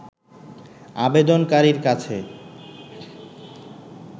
আবেদনকারীর কাছে